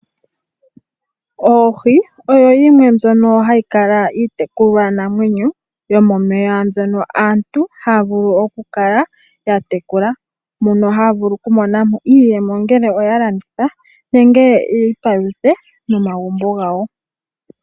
Oohi oyo yimwe mbyoka hayi kala uutekulwa namwenyo yomomeya mbyono aantu haya vulu oku kala yatekula, mono haya vulu ku mona mo iiyemo ongele oya landitha nenge yiipaluthe nomagumbo gawo.